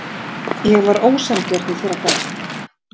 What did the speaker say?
Ég var ósanngjörn í þeirra garð.